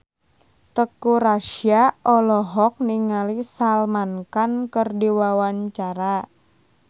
Teuku Rassya olohok ningali Salman Khan keur diwawancara